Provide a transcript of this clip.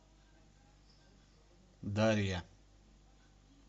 дарья